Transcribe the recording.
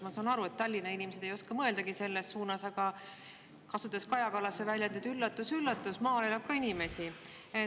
Ma saan aru, et Tallinna inimesed ei oska selles suunas mõeldagi, aga kasutades Kaja Kallase väljendit: üllatus-üllatus, ka maal elab inimesi!